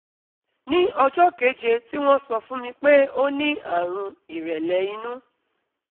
ní ọjọ́ keje tí wọ́n sọ fún mi pé ó ní àrùn ìrẹ̀lẹ̀ inú